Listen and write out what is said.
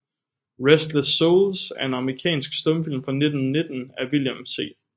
Restless Souls er en amerikansk stumfilm fra 1919 af William C